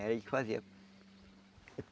Era ele que fazia.